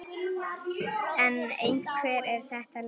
En hvernig er þetta lið?